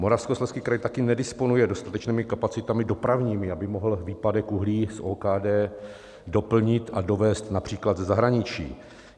Moravskoslezský kraj taky nedisponuje dostatečnými kapacitami dopravními, aby mohl výpadek uhlí z OKD doplnit a dovézt například ze zahraničí.